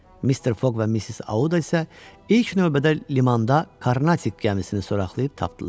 Mister Fogg və Missis Auda isə ilk növbədə limanda Karnatik gəmisini soraqlayıb tapdılar.